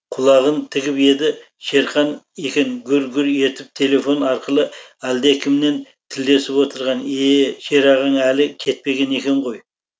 құлағын тігіп еді шерхан екен гүр гүр етіп телефон арқылы әлдекімнен тілдесіп отырған е е шерағаң әлі кетпеген екен ғой